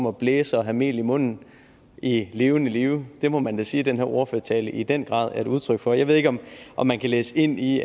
at blæse og have mel i munden i levende live det må man da sige at den her ordførertale i den grad er et udtryk for jeg ved ikke om om man kan læse ind i